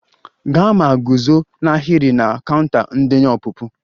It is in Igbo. Gaa ma guzo n'ahịrị na counter ndenye ọpụpụ!